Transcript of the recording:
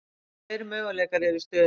Tveir möguleikar eru í stöðunni.